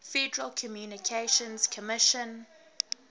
federal communications commission